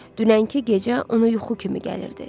Dünənki gecə ona yuxu kimi gəlirdi.